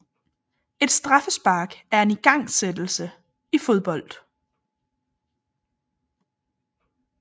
Et straffespark er en igangsættelse i fodbold